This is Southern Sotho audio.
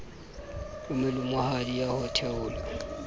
e molemohadi ya ho theola